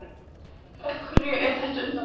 Af hverju er þetta undarlegt?